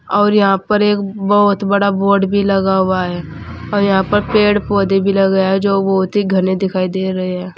और यहां पर एक बहुत बड़ा बोर्ड भी लगा हुआ है और यहां पर पेड़ पौधे भी लगाया जो बहुत ही घने दिखाई दे रहे हैं।